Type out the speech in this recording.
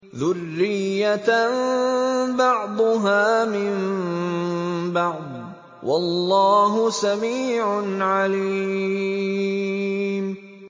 ذُرِّيَّةً بَعْضُهَا مِن بَعْضٍ ۗ وَاللَّهُ سَمِيعٌ عَلِيمٌ